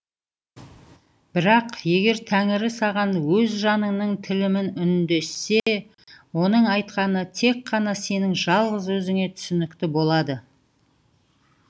бірақ егер тәңірі саған өз жаныңның тілімен үндессе оның айтқаны тек қана сенің жалғыз өзіңе түсінікті болады